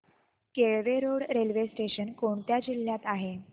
Kelve road railway station कोणत्या जिल्ह्यात आहे